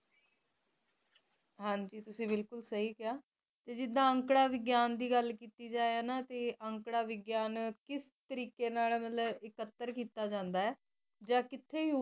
ਹਨ ਜੀ ਤੁਸੀ ਬਿਲਕੁਲ ਸਹੀ ਕਹਾ ਤੇ ਜੈਰੀ ਅੰਕੜਾ ਵਿਗਿਆਨ ਦੀ ਗੱਲ ਕਿੱਤੀ ਜਾਇ ਨਾ ਤੇ ਜ਼ੀਰਾ ਅੰਕੜਾ ਵਿਗਿਆਨ ਕਿਸ ਤਰੀਕੇ ਨਾਲ ਮਤਲਬ ਇਕੱਤਰ ਕੀਤਾ ਜਾਂਦਾ